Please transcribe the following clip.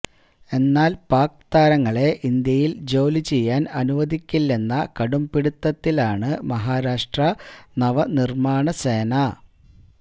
എന്നാല് പാക് താരങ്ങളെ ഇന്ത്യയില് ജോലി ചെയ്യാന് അനുവദിക്കില്ലെന്ന കടുംപിടുത്തത്തിലാണ് മഹാരാഷ്ട്ര നവനിര്മാണ് സേന